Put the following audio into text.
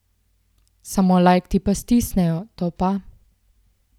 Samo lajk ti pa stisnejo, to pa!